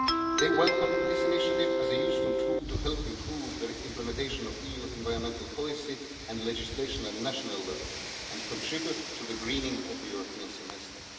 They welcomed this initiative as a useful tool to help improve implementation of EU environmental policy and legislation at national level and contribute to the greening of the European Semester.